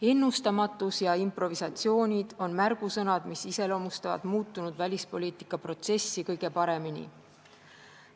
Ennustamatus ja improvisatsioonid on märgusõnad, mis iseloomustavad muutunud välispoliitikaprotsessi kõige paremini.